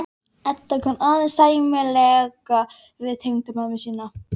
Edda kann aðeins sæmilega við tengdamömmu sína.